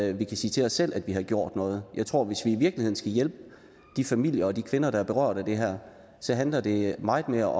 at vi kan sige til os selv at vi har gjort noget jeg tror at hvis vi i virkeligheden skal hjælpe de familier og de kvinder der er berørt af det her så handler det meget mere